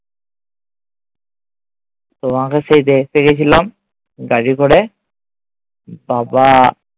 তোমাকে সেই দেখতে গেছিলাম গাড়ি করে। বাবা